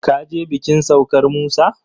ka je bikin saukar Musa?